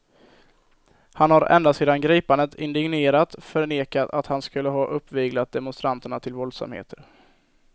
Han har ända sedan gripandet indignerat förnekat att han skulle ha uppviglat demonstranterna till våldsamheter.